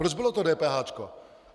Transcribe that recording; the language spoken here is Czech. Proč bylo to dépéháčko?